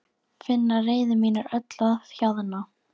Finn að reiði mín er öll að hjaðna.